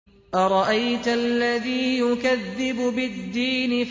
أَرَأَيْتَ الَّذِي يُكَذِّبُ بِالدِّينِ